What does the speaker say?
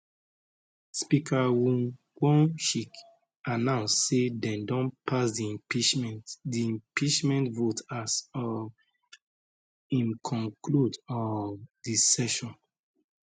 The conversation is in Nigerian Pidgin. speaker woo wonshik announce say dem don pass di impeachment di impeachment vote as um im conclude um di session